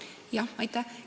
Aitäh!